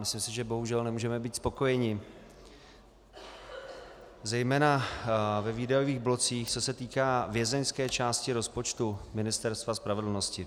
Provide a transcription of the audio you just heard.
Myslím si, že bohužel nemůžeme být spokojeni, zejména ve výdajových blocích, co se týká vězeňské části rozpočtu Ministerstva spravedlnosti.